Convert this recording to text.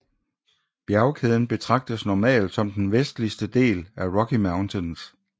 Bjergkæden betragtes normalt som den vestligste del af Rocky Mountains